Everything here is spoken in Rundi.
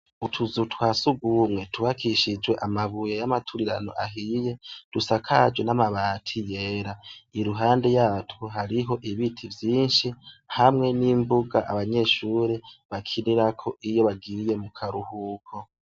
Utuzu twa sugumwe twubakishijwe amabuye y'amaturirano ahiye, dusakajwe namabati yera. Iruhande yatwo hariho ibiti vyinshi hamwe nimbuga abanyeshure bakinirako iyo bagiye mukaruhuko.